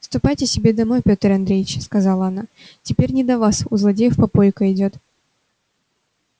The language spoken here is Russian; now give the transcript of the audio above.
ступайте себе домой пётр андреич сказала она теперь не до вас у злодеев попойка идёт